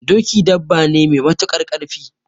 Doki dabba ne me matuƙar ƙarfi